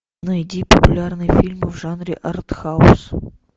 найди популярные фильмы в жанре артхаус